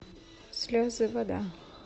слезы вода